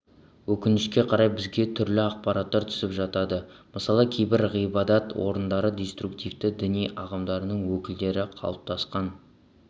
өкінішке қарай бізге түрлі ақпараттар түсіп жатады мысалы кейбір ғибадат орындарда деструктивті діни ағымдардың өкілдері қалыптасқан